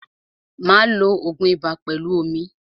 Máa lo ògun ibà pẹlú omi.